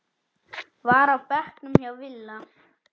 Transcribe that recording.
var á bekknum hjá Villa.